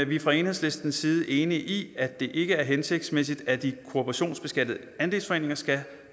vi er fra enhedslistens side enige i at det ikke er hensigtsmæssigt at de kooperationsbeskattede andelsforeninger skal